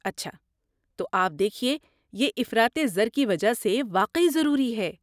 اچھا تو آپ دیکھیے، یہ افراطِ زر کی وجہ سے واقعی ضروری ہے۔